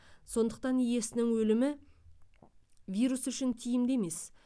сондықтан иесінің өлімі вирус үшін тиімді емес